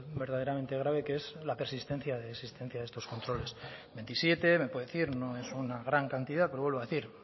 verdaderamente grave que es la persistencia de existencia de estos controles veintisiete me puede decir no es una gran cantidad pero vuelvo a decir